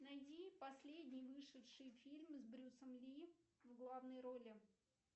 найди последний вышедший фильм с брюсом ли в главной роли